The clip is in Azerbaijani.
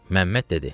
Məmməd dedi: